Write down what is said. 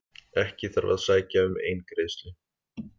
Ekki þarf að sækja um eingreiðslu